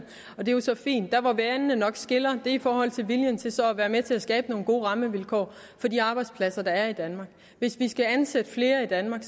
og det er jo så fint der hvor vandene nok skiller er i forhold til viljen til så at være med til at skabe nogle gode rammevilkår for de arbejdspladser der er i danmark hvis vi skal ansætte flere i danmark